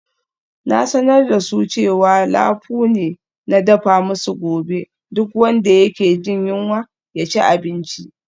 Na sanar da su cewa lafu ne na dafa musu gobe, duk wanda yake jin yunwa ya ci abinci.